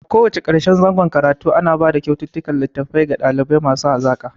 A ko wacce karshen zangon karatu ana bada kyaututtukan litattafai ga ɗalibai masu hazaka